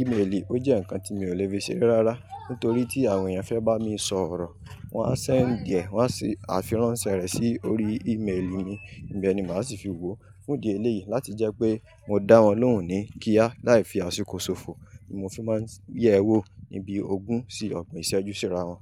Íméèlì ó jẹ́ nǹkan tí mi ò lè fi ṣere rárá. Nítorí tí àwọn èèyàn fẹ́ bá mi sọ̀rọ̀, wọ́n á send e, wọ́n á fi áfirànsẹ̀ rẹ̀ sí orí íméèlì mi íbẹni màá sì fi wo. Fún di èléyìí láti jẹ́ pé mo dá wọn lóhùn ní kíá láì fi àsìkò ṣòfò, ni mo fi máa ń yẹ̀ ẹ́ wò níbi ògún sí ọgbọ̀n ìṣẹ́jú síra wọn.